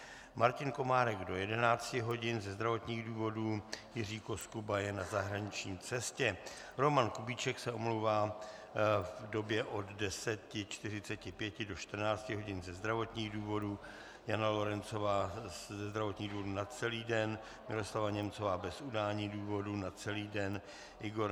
Martin Komárek do 11 hodin ze zdravotních důvodů, Jiří Koskuba je na zahraniční cestě, Roman Kubíček se omlouvá v době od 10.45 do 14 hodin ze zdravotních důvodů, Jana Lorencová ze zdravotních důvodů na celý den, Miroslava Němcová bez udání důvodu na celý den, Igor